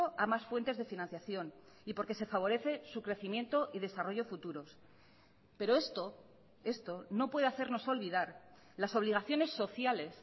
a más fuentes de financiación y porque se favorece su crecimiento y desarrollo futuros pero esto esto no puede hacernos olvidar las obligaciones sociales